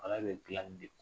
Ala bɛ dilanl